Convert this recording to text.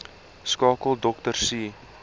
skakel dr c